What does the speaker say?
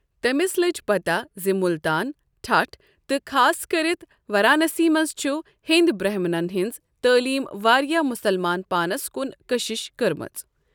تٔمِس لٔج پتا زِ مُلتان، ٹھٹھہ تہٕ خاصکرِتھ وارانسی منٛز چھُ ہیند برہمنن ہنٛز تعلیمہٕ واریاہ مسلمان پانس کُن کٔشِش کٔرمٕژ۔